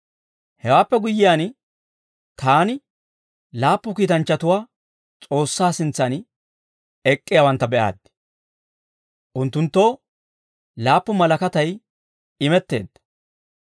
Hewaappe guyyiyaan, taani laappu kiitanchchatuwaa S'oossaa sintsan ek'k'iyaawantta be'aaddi; unttunttoo laappu malakatay imetteedda.